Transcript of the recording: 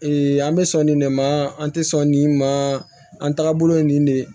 an bɛ sɔn nin de ma an tɛ sɔn nin ma an tagabolo ye nin de ye